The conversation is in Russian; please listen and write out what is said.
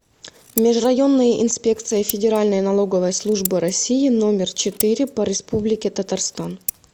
межрайонная инспекция федеральной налоговой службы россии номер четыре по республике татарстан